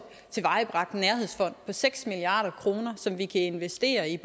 tilvejebragt en nærhedsfond på seks milliard kr som vi kan investere i